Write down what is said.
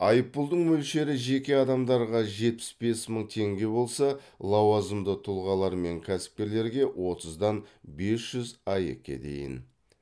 айыппұлдың мөлшері жеке адамдарға жетпіс бес мың теңге болса лауазымды тұлғалар мен кәсіпкерлерге отыздан бес жүз аек ке дейін